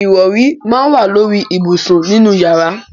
Ìrọrí máa ń wà lóri ìbùsùn nínú yàrá.